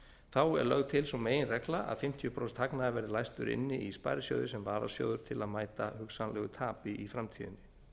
þá er lögð til sú meginregla að fimmtíu prósent hagnaðar verði læstur inni í sparisjóði sem varasjóður til þess að mæta hugsanlegu tapi í framtíðinni